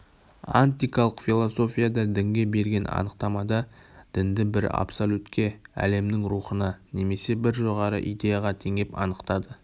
антикалық философияда дінге берген анықтамада дінді бір абсолютке әлемнің рухына немесе бір жоғары идеяға теңеп анықтады